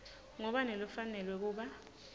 ngubani lofanelwe kuba